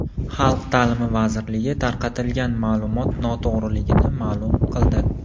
Xalq ta’limi vazirligi tarqatilgan ma’lumot noto‘g‘riligini ma’lum qildi .